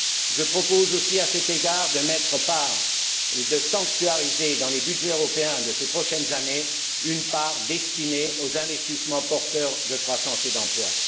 Je propose aussi, à cet égard, de sanctuariser dans les budgets européens de ces prochaines années une part destinée aux investissements porteurs de croissance et d'emplois.